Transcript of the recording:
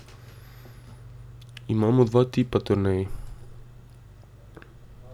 Imamo dva tipa turnej.